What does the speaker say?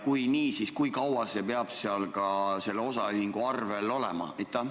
Kui nii, siis kui kaua see peab selle osaühingu arvel olema?